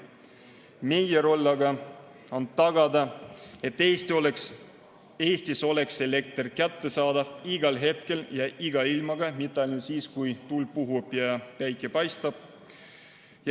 Meie roll aga on tagada, et Eestis oleks elekter kättesaadav igal hetkel ja iga ilmaga, mitte ainult siis, kui tuul puhub ja päike paistab.